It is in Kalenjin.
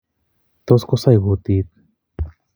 Tos kosaii kutit